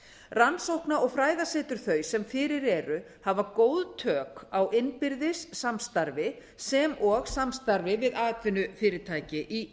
rannsókna og fræðasetur þau sem fyrir eru hafa góð tök á innbyrðis samstarfi sem og samstarfi við atvinnufyrirtæki í